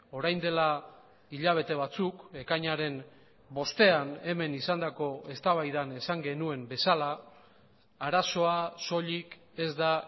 orain dela hilabete batzuk ekainaren bostean hemen izandako eztabaidan esan genuen bezala arazoa soilik ez da